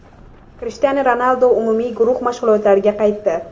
Krishtianu Ronaldu umumiy guruh mashg‘ulotlariga qaytdi.